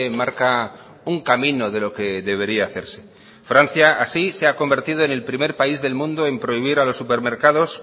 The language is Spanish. marca un camino de lo que debería hacerse francia así se ha convertido en el primer país del mundo en prohibir a los supermercados